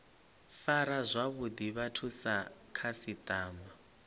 fara zwavhuḓi vhathu sa khasiṱama